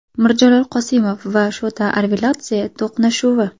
Mirjalol Qosimov va Shota Arveladze to‘qnashuvi.